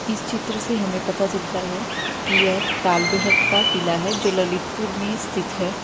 इस चित्र से हमें पता चलता है कि यह तालबेहट का किला है जो ललितपुर में स्थित है।